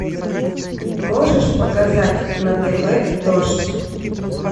можешь показать на тв дождь